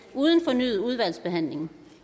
uden fornyet udvalgsbehandling